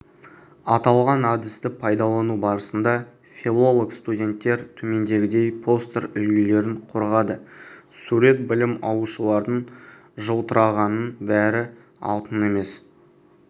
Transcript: аталған әдісті пайдалану барысында филолог студенттер төмендегідей постер үлгілерін қорғады сурет білім алушылардың жылтырағанның бәрі алтын емес